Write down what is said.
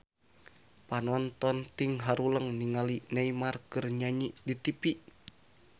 Panonton ting haruleng ningali Neymar keur nyanyi di tipi